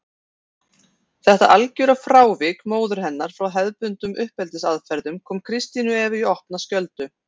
Þetta algjöra frávik móður hennar frá hefðbundnum uppeldisaðferðum kom Kristínu Evu í opna skjöldu.